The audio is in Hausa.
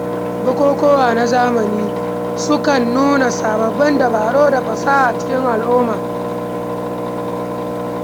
Bukukuwa na zamani sukan nuna sababbin dabaru da fasaha a cikin al’umma.